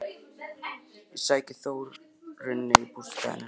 Ég sæki Þórunni í bústaðinn hennar.